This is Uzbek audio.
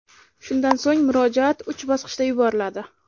Shundan so‘ng murojaat uch bosqichda yuboriladi.